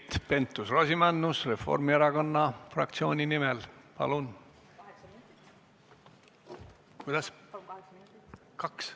Keit Pentus-Rosimannus Reformierakonna fraktsiooni nimel, palun!